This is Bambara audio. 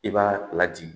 I b'a lajigin